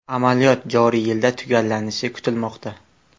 Amaliyot joriy yilda tugallanishi kutilmoqda.